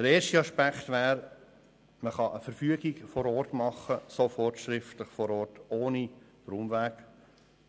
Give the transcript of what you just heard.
Erster Aspekt: Man kann sofort schriftlich vor Ort eine Verfügung erlassen, ohne